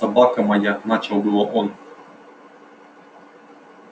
собака моя начал было он